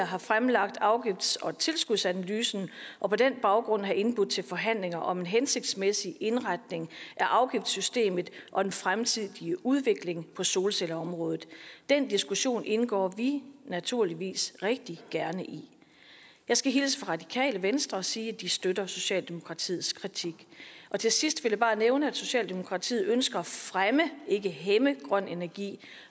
have fremlagt afgifts og tilskudsanalysen og på den baggrund have indbudt til forhandlinger om en hensigtsmæssig indretning af afgiftssystemet og den fremtidige udvikling på solcelleområdet den diskussion indgår vi naturligvis rigtig gerne i jeg skal hilse fra radikale venstre og sige at de støtter socialdemokratiets kritik og til sidst vil jeg bare nævne at socialdemokratiet ønsker at fremme ikke hæmme grøn energi